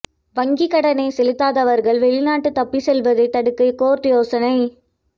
வங்கி கடனை செலுத்தாதவர்கள் வெளிநாடு தப்பிச் செல்வதை தடுக்க கோர்ட் யோசனை